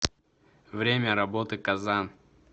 время работы казан